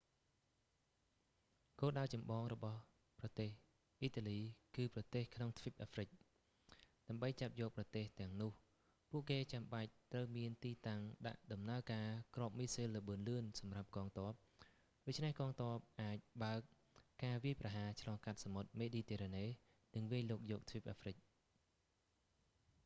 គោលដៅចម្បងរបស់ប្រទេសអ៊ីតាលី គឺប្រទេសក្នុងទ្វីបអាហ្វ្រិក ដើម្បីចាប់យកប្រទេសទាំងនោះ ពួកគេចាំបាច់ត្រូវមានទីតាំងដាក់ដំណើរការគ្រាប់មីស៊ីលល្បឿនលឿនសម្រាប់កងទ័ព ដូច្នេះកងទ័ពអាចបើកការវាយប្រហារឆ្លងកាត់សមុទ្រមេឌីទែរ៉ាណេ និងវាយលុកយកទ្វីបអាហ្វ្រិក